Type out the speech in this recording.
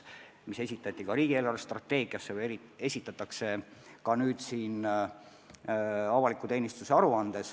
Need said kirja ka riigi eelarvestrateegiasse või esitatakse nüüd siin avaliku teenistuse aruandes.